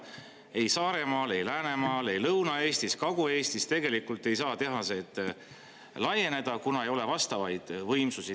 Ei Saaremaal, ei Läänemaal, ei Lõuna-Eestis, Kagu-Eestis tegelikult ei saa tehased laieneda, kuna ei ole vastavaid võimsusi.